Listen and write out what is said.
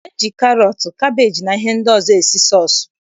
E ji karọt, kabeeji na ihe ndị ọzọ esi sọọsụ